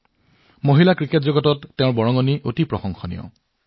তেওঁৰ সাফল্যৰ বাবে অভিনন্দন